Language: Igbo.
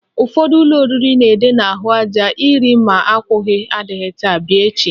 Ụfọdụ ebe oriri na-ede n'ahụaja "Iri ma akwụghị adịghị taa, bịa echi"